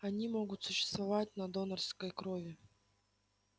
они могут существовать на донорской крови